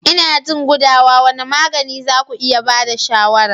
Ina jin gudawa, wane magani za ku iya ba da shawarar?